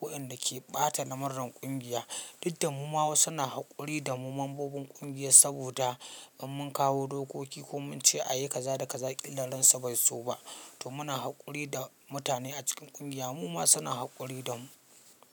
waɗanda ke ɓata namarar ƙungiya. Didda mu ma wasu na haƙuri da mu mambobin ƙungiya saboda, in mun kawo dokoki ko mun ce a yi kaza da kaza ƙila ransu bai so ba. To muna haƙuri da mutane a cikin ƙungiya mu ma suna haƙuri da mu.